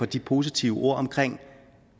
de positive ord om